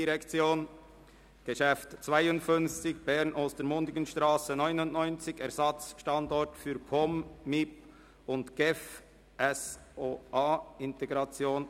Traktandum 52, «Bern, Ostermundigenstrasse 99: Ersatzstandort für POM-MIP und GEF-SOA Integration.